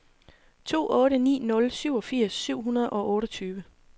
to otte ni nul syvogfirs syv hundrede og otteogtyve